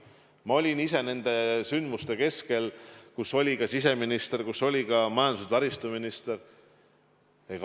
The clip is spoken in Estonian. Ma olin ise nende sündmuste keskel ja olid ka siseminister ja majandus- ja taristuminister.